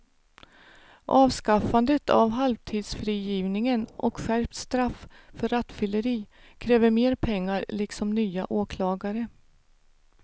Avskaffandet av halvtidsfrigivningen och skärpt straff för rattfylleri kräver mer pengar liksom nya åklagare.